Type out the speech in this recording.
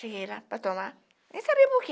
Cheguei lá para tomar, nem sabia por quê.